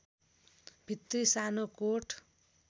भित्री सानो कोट